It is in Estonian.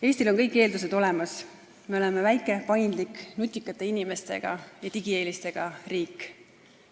Eestil on kõik eeldused olemas, me oleme väike, paindlik, nutikate inimestega ja digieelistega riik.